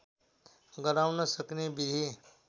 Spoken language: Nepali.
गराउन सक्ने विधि